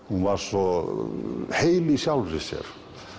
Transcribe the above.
hún var svo heil í sjálfri sér